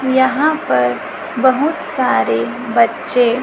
यहां पर बहुत सारे बच्चे--